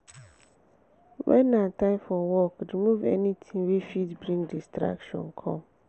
when na time for work remove anything wey fit bring distraction come